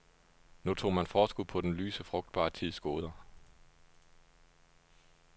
Nu tog man forskud på den lyse, frugtbare tids goder.